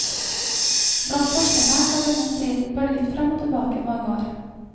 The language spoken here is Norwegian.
Blant forskerne har denne striden bølget fram og tilbake i mange år.